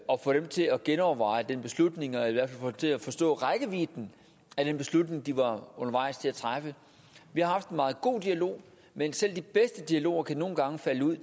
få dem til at genoverveje den beslutning eller i hvert fald til at forstå rækkevidden af den beslutning de var undervejs til at træffe vi har haft en meget god dialog men selv de bedste dialoger kan nogle gange falde ud